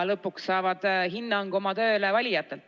Lõpuks saab ta hinnangu oma tööle valijatelt.